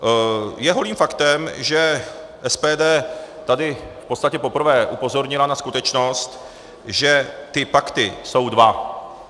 Je holým faktem, že SPD tady v podstatě poprvé upozornila na skutečnost, že ty pakty jsou dva.